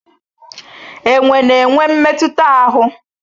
Enwe na-enwe mmetụta ahụ.